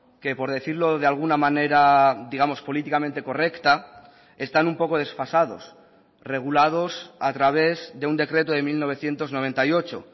que por decirlo de alguna manera digamos políticamente correcta están un poco desfasados regulados a través de un decreto de mil novecientos noventa y ocho